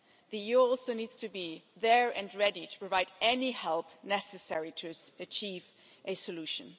The EU also needs to be there and ready to provide any help necessary to achieve a solution.